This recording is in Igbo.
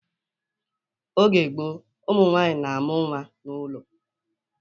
Oge gboo, ụmụ nwaanyị na amụ-nwa n'ụlọ